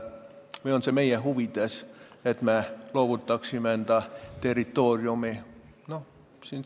Või on see meie huvides, et me loovutaksime enda territooriumi?